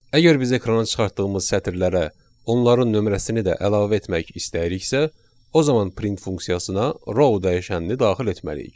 Əgər biz ekrana çıxartdığımız sətirlərə onların nömrəsini də əlavə etmək istəyiriksə, o zaman print funksiyasına row dəyişənini daxil etməliyik.